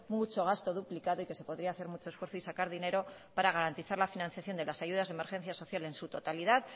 mucho gasto duplicado y que se podría hacer mucho esfuerzo y sacar dinero para garantizar la financiación de las ayudas de emergencia social en su totalidad